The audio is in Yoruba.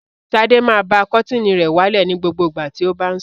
Sadé máa ba kọ́tíínì rẹ̀ wálẹ̀ ní gbogbo ìgbà tí ó bá ń sùn.